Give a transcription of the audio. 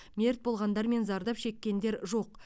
мерт болғандар мен зардап шеккендер жоқ